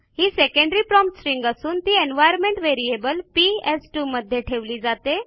ही secondary prompt string असून ती environment variable P S two मध्ये ठेविली जाते